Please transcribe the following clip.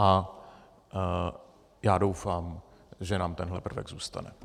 A já doufám, že nám tenhle prvek zůstane.